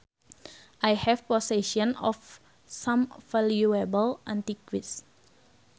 I have possession of some valuable antiques